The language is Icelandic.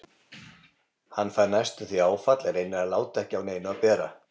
Hann fær næstum því áfall en reynir að láta ekki á neinu bera.